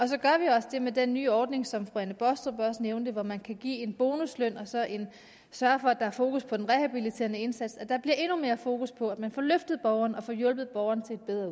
så gør vi også det med den nye ordning som fru anne baastrup også nævnte og hvor man kan give en bonusløn og så sørge for at der er fokus på den rehabiliterende indsats at der bliver endnu mere fokus på at man får løftet borgeren og får hjulpet borgeren